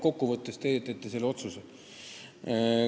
Kokku võttes aga teete teie selle otsuse.